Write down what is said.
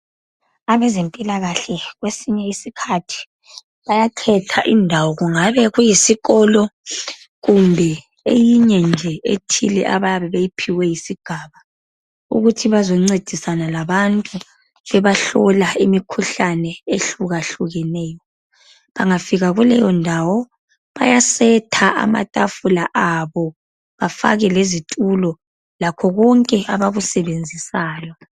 Abezempila kahle kwesinye isikhathi bayakhetha indawo kungabe kuyisikolo kumbe eyinye nje ethile abayabe beyiphiwe yisigaba ukuthi bazoncedisana labantu bebahlola imikhuhlane ehluka hlukaneyo. Bengafika kuleyi ndawo bayasetha amathafula abo bafake lezitulo lakho konke abakusebenzisayo.